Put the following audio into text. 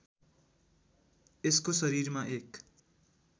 यसको शरीरमा एक